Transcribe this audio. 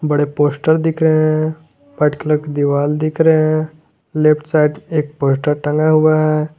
बड़े पोस्टर दिख रहे है व्हाइट कलर का दीवाल दिख रहे हैं लेफ्ट साइड एक पोस्टर टंगा हुआ हैं।